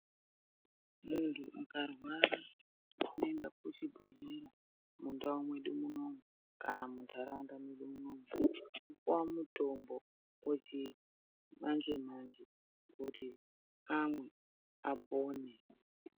Muntu ukarwara unoenda kuchibhedhlera mundau mwedu munomu kana mundaraunda medu munomu wopuwa mutombo wechi manje manje kuti amwe apone.